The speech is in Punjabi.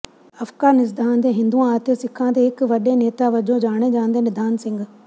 ਅਫਗਾਨਿਸਤਾਨ ਦੇ ਹਿੰਦੂਆਂ ਅਤੇ ਸਿੱਖਾਂ ਦੇ ਇਕ ਵੱਡੇ ਨੇਤਾ ਵਜੋਂ ਜਾਣੇ ਜਾਂਦੇ ਨਿਧਾਨ ਸਿੰਘ